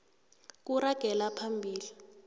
kuragela phambili